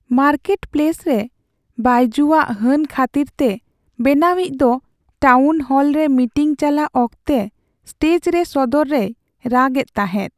Market place ᱨᱮ ᱵᱟᱭᱡᱩᱣᱟᱜ ᱦᱟᱹᱱ ᱠᱷᱟᱹᱛᱤᱨᱛᱮ ᱵᱮᱱᱟᱣᱤᱡ ᱫᱚ ᱴᱟᱣᱩᱱᱦᱚᱞᱨᱮ ᱢᱤᱴᱤᱝ ᱪᱟᱞᱟᱜ ᱚᱠᱛᱚ ᱥᱴᱮᱡᱽ ᱨᱮ ᱥᱚᱫᱚᱨ ᱨᱮᱭ ᱨᱟᱜ ᱮᱫ ᱛᱟᱦᱮᱸ ᱾